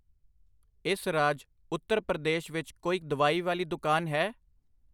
ਇਸ ਰਾਜ ਉੱਤਰ ਪ੍ਰਦੇਸ਼ ਵਿੱਚ ਕੋਈ ਦਵਾਈ ਵਾਲੀ ਦੁਕਾਨ ਹੈ?